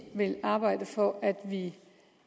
vil arbejde for at vi